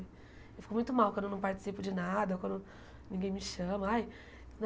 Eu fico muito mal quando eu não participo de nada, ou quando ninguém me chama. Ai